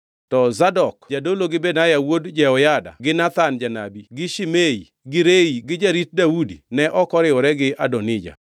To Zadok jadolo gi Benaya wuod Jehoyada gi Nathan janabi gi Shimei gi Rei gi jarit Daudi ne ok oriwore gi Adonija.